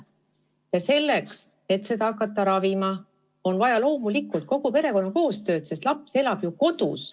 Ja selleks, et hakata seda ravima, on loomulikult vaja kogu perekonna koostööd, sest laps elab ju kodus.